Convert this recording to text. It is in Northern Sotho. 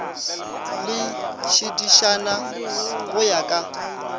le tšiditšana go ya ka